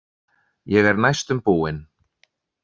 Ég er næstum búin.